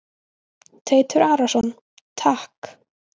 Teitur Arason: Takk.